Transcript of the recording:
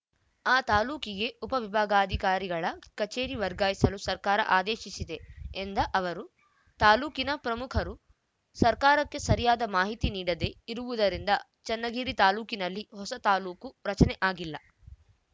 ಆ ತಾಲೂಕಿಗೆ ಉಪ ವಿಭಾಗಾಧಿಕಾರಿಗಳ ಕಚೇರಿ ವರ್ಗಾಯಿಸಲು ಸರ್ಕಾರ ಆದೇಶಿಸಿದೆ ಎಂದ ಅವರು ತಾಲೂಕಿನ ಪ್ರಮುಖರು ಸರ್ಕಾರಕ್ಕೆ ಸರಿಯಾದ ಮಾಹಿತಿ ನೀಡದೆ ಇರುವುದರಿಂದ ಚನ್ನಗಿರಿ ತಾಲೂಕಿನಲ್ಲಿ ಹೊಸ ತಾಲೂಕು ರಚನೆ ಆಗಿಲ್ಲ